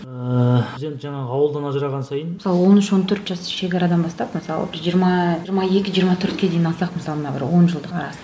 ыыы ауылдан ажыраған сайын он үш он төрт жас шегарадан бастап мысалы жиырма жиырма екі жиырма төртке дейін алсақ мысалы мына бір он жылдыққа